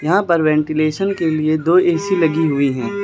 यहां पर वेंटिलेशन के लिए दो ए_सी लगी हुई है।